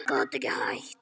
Ég get ekki hætt.